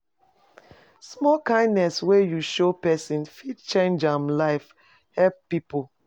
Small kindness wey you show pesin fit change am life, help pipo